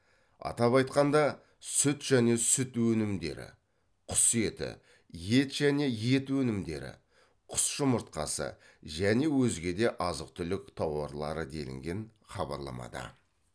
атап айтқанда сүт және сүт өнімдері құс еті ет және ет өнімдері құс жұмыртқасы және өзге де азық түлік тауарлары делінген хабарламада